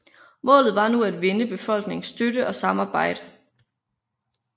Målet var nu at vinde befolkningens støtte og samarbejde